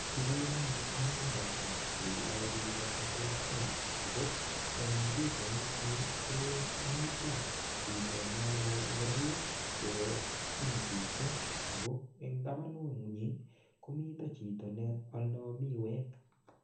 Kigere anyun mungarosiek che yoe biik cheterter ago eng pichaini anyun ko mito chito nealdo ngoroik chebo jinisisiek ago eng tabanunyi komichito ne aldo miwek.